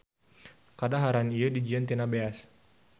Kadaharan ieu dijieun tina beas.